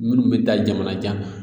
Minnu bɛ taa jamana